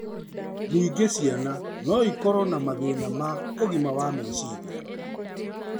Ningĩ ciana no ikorũo na mathĩna ma ũgima wa meciria